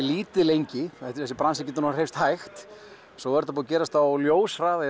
lítið lengi þessi bransi getur hreyfst hægt svo er þetta búið að gerast á ljóshraða